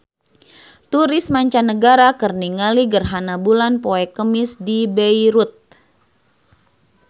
Turis mancanagara keur ningali gerhana bulan poe Kemis di Beirut